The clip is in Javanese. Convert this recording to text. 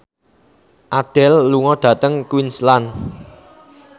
Adele lunga dhateng Queensland